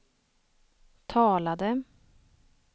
talade